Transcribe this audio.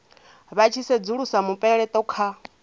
vha tshi sedzulusa mupeleto kha